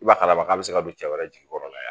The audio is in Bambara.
I b'a ye a baga k'a bɛ se ka don cɛ wɛrɛ jigi kɔrɔ la